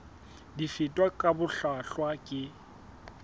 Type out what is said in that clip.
di fetwa ka bohlwahlwa ke